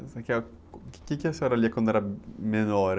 Mas, o quê que a senhora lia quando era menor?